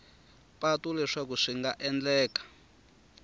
patu leswaku swi nga endleka